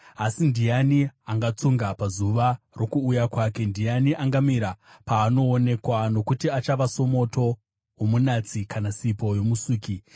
Asi ndiani angatsunga pazuva rokuuya kwake? Ndiani angamira paanoonekwa? Nokuti achava somoto womunatsi kana sipo yomusuki.